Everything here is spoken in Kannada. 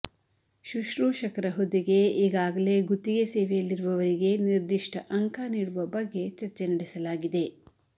ಶುಶ್ರೂಷಕರ ಹುದ್ದೆಗೆ ಈಗಾಗಲೇ ಗುತ್ತಿಗೆ ಸೇವೆಯಲ್ಲಿರುವರಿಗೆ ನಿರ್ದಿಷ್ಟ ಅಂಕ ನೀಡುವ ಬಗ್ಗೆ ಚರ್ಚೆ ನಡೆಸಲಾಗಿದೆ